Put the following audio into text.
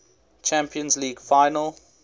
champions league final